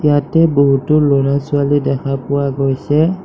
ইয়াতে বহুতো ল'ৰা-ছোৱালী দেখা পোৱা গৈছে।